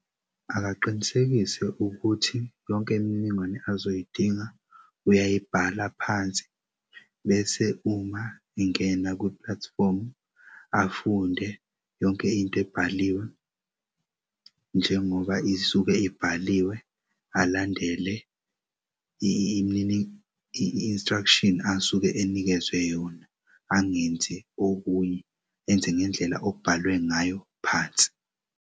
Akaqinisekise ukuthi yonke imininingwane azoyidinga uyayibhala phansi. Bese uma ingena kwi-platform afunde yonke into ebhaliwe njengoba isuke ibhaliwe alandele i-instruction asuke enikezwe yona angenzi okunye enze ngendlela okubhalwe ngayo phansi.